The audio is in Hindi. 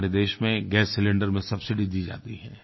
हमारे देश में गैस सिलेंडर में सब्सिडी दी जाती है